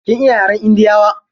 Kin iya yaren indiyawa?